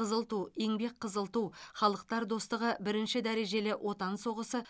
қызыл ту еңбек қызыл ту халықтар достығы бірінші дәрежелі отан соғысы